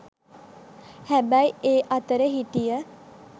හැබැයි ඒ අතර හිටිය